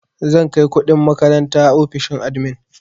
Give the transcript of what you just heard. Zan kai kuɗin makaranta ofishin admin.